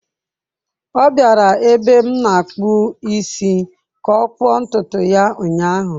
Ọ bịara ebe m na-akpụ isi ka ọ kpụọ ntutu ya ụnyahụ.